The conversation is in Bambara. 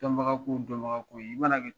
Dɔnbaga ko dɔnbaga ko i mana kɛ